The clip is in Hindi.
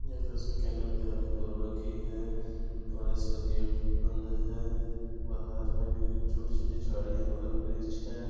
यह तस्वीर केंद्रीय विद्यालय कोरबा की है कॉलेज का गेट बंद है बाहर में भी कुछ छोटी-छोटी झाड़ियाँ बगल में है।